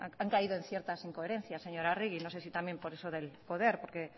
han caído en ciertas incoherencias señora agerri no sé si también por eso del poder porque